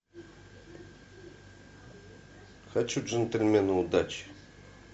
хочу джентельмены удачи